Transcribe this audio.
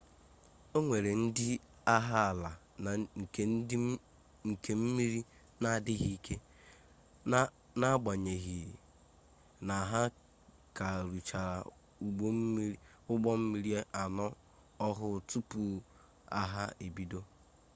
o nwere ndị agha ala na nke mmiri n'adịghị ike n'agbanyeghi na ha ka rụchara ụgbọmmiri anọ ọhụụ tupu agha ebido